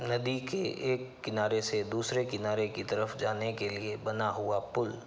नदी के एक किनारे से दूसरे किनारे की तरफ़ जाने के लिए बना हुआपुल --